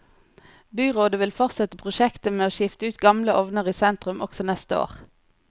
Byrådet vil fortsette prosjektet med å skifte ut gamle ovner i sentrum også neste år.